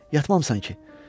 Li, yatmamısan ki?